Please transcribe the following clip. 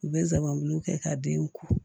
U bɛ zanbulu kɛ ka den ku